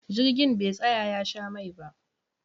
Jirgin be tsaya ya sha mai ba